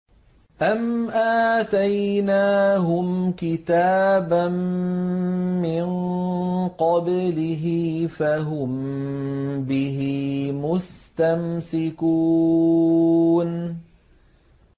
أَمْ آتَيْنَاهُمْ كِتَابًا مِّن قَبْلِهِ فَهُم بِهِ مُسْتَمْسِكُونَ